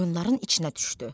Qoyunların içinə düşdü.